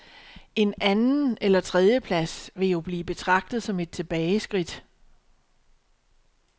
En anden- eller tredjeplads vil jo blive betragtet som et tilbageskridt.